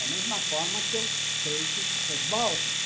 Da mesma forma que eu creio que o futebol também.